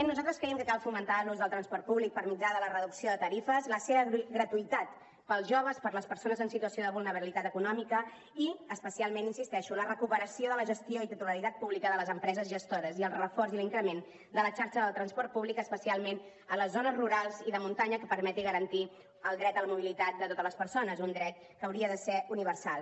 nosaltres creiem que cal fomentar l’ús del transport públic per mitjà de la reducció de tarifes la seva gratuïtat per als joves per a les persones en situació de vulnerabilitat econòmica i especialment hi insisteixo la recuperació de la gestió i titularitat pública de les empreses gestores i el reforç i l’increment de la xarxa del transport públic especialment a les zones rurals i de muntanya que permeti garantir el dret a la mobilitat de totes les persones un dret que hauria de ser universal